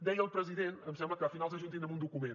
deia el president em sembla que a finals de juny tindrem un document